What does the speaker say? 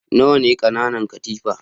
Nawa ne ƙananan katifa?